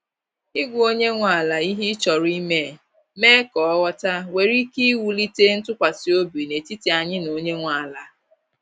i gwa onye nwe ala ihe ị chọrọ ime, mee ka ọ ghọta, nwere ike iwulite ntụkwasị obi n’etiti anyị na onye nwe ala.